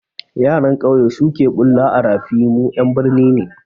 Yaran kyauye suke bule a rafi, mu ƴan birni ne